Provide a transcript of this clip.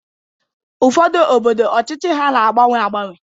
Ụfọdụ obodo ọchịchị ha na-agbanwe agbanwe